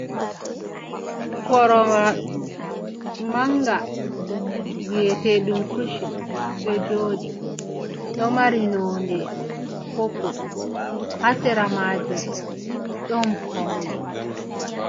Korowal manga viyetedum kushin do jodi do mari nonde poppul, hasera majum ɗon paune.